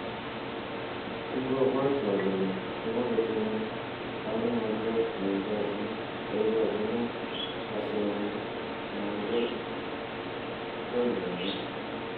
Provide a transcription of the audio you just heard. Kingobwatwa kole komakotinyei manongotiot neikochini kasenyi anan ko lolongyet